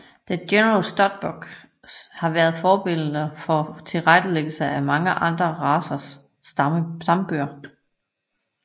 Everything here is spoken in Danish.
The General Stud Book har været forbillede for tilrettelæggelsen af mange andre racers stambøger